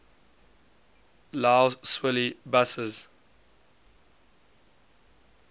lough swilly buses